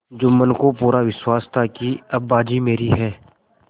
जुम्मन को पूरा विश्वास था कि अब बाजी मेरी है